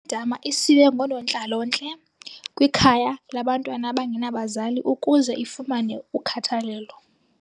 dama isiwe ngoonontlalontle kwikhaya labantwana abangenabazali ukuze ifumane ukhathalelo.